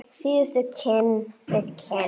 Síðustu kinn við kinn.